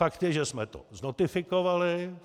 Fakt je, že jsme to znotifikovali.